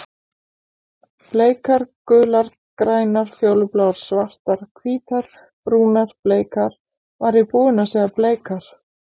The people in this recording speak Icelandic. Bleikar gular grænar fjólubláar svartar hvítar brúnar bleikar var ég búinn að segja bleikar?